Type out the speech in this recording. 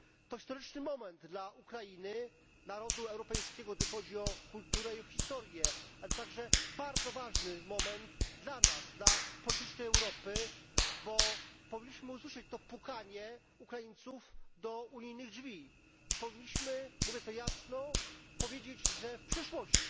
To historyczny moment dla Ukrainy narodu europejskiego gdy chodzi o kulturę i o historię, a to także bardzo ważny moment dla nas, dla politycznej Europy, bo powinniśmy usłyszeć to pukanie Ukraińców do unijnych drzwi i powinniśmy, mówię to jasno, powiedzieć, że w przyszłości,